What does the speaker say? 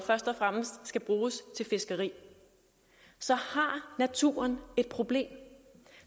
frem skal bruges til fiskeri så har naturen et problem